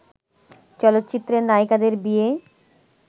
চলচ্চিত্রের নায়িকাদের বিয়ে